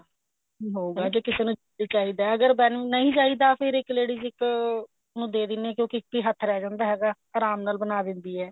ਹੋਊਗਾ ਜੇ ਕਿਸੇ ਨੂੰ ਜੇ ਚਾਹੀਦਾ ਅਗਰ ਕਿਸੇ ਨੂੰ ਨਹੀਂ ਚਾਹੀਦਾ ਫੇਰ ਇੱਕ ladies ਇੱਕ ਨੂੰ ਦੇ ਦਿਨੇ ਆ ਕਿਉਂਕਿ ਫੇਰ ਇੱਕ ਹੀ ਹੱਥ ਰਹਿ ਜਾਂਦਾ ਹੈਗਾ ਆਰਾਮ ਨਾਲ ਬਣਾ ਦਿੰਦੀ ਹੈ